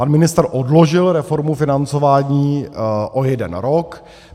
- Pan ministr odložil reformu financování o jeden rok.